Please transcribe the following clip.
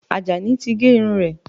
Àjàní ti gé irun rẹ̀